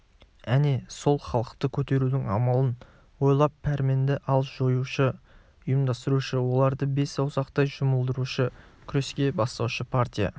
әне сол халықты көтерудің амалын ойлап пәрменді әл жиюшы ұйымдастырушы оларды бес саусақтай жұмылдырушы күреске бастаушы партия